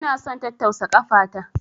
Ina son tattausa kafa na.